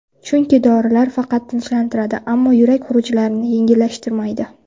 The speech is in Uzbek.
Chunki dorilar faqat tinchlantiradi, ammo yurak xurujlarini yengillashtirmaydi.